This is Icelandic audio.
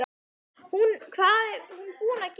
Hvað er hún búin að gera!